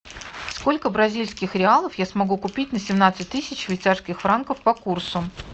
сколько бразильских реалов я смогу купить на семнадцать тысяч швейцарских франков по курсу